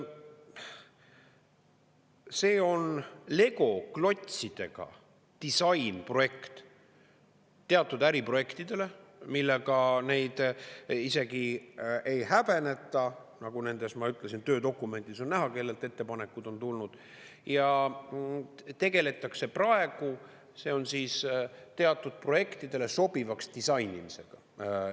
See on legoklotsidega disainprojekt teatud äriprojektidele, millega neid isegi ei häbeneta – nagu ma ütlesin, töödokumendis on näha, kellelt ettepanekud on tulnud – ja tegeldakse praegu teatud projektidele sobivaks disainimisega.